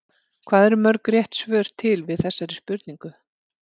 Hvað eru mörg rétt svör til við þessari spurningu?